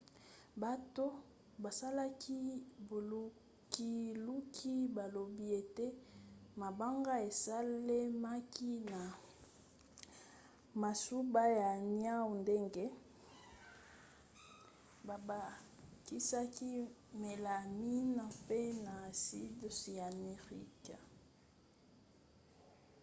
bato basalaki bolukiluki balobi ete mabanga esalemaki na masuba ya niau ndenge babakisaki melamine mpe na aside cyanuricque